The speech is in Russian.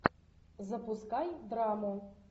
запускай драму